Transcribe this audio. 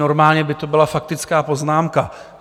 Normálně by to byla faktická poznámka.